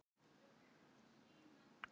Settu samt á þig legghlífar vinur.